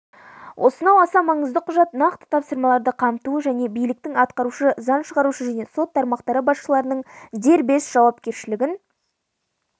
осынау аса маңызды құжат нақты тапсырмаларды қамтуы және биліктің атқарушы заң шығарушы және сот тармақтары басшыларының дербес жауапкершілігін